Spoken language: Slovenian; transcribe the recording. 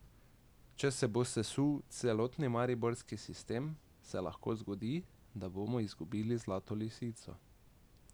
Če se bo sesul celotni mariborski sistem, se lahko zgodi, da bomo izgubili Zlato lisico.